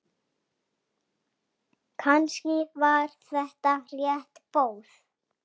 Var þetta kannski erfitt próf?